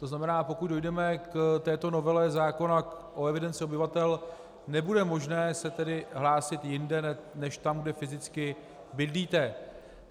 To znamená, pokud dojdeme k této novele zákona o evidenci obyvatel, nebude možné se tedy hlásit jinde než tam, kde fyzicky bydlíte.